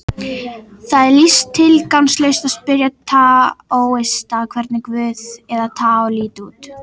Það er því tilgangslaust að spyrja taóista hvernig guð, eða taó, líti út.